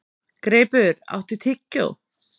Greipur, áttu tyggjó?